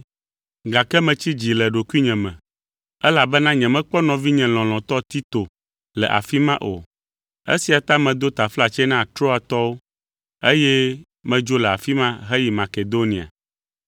gake metsi dzi le ɖokuinye me, elabena nyemekpɔ nɔvinye lɔlɔ̃tɔ Tito le afi ma o. Esia ta medo taflatse na Troatɔwo, eye medzo le afi ma heyi Makedonia.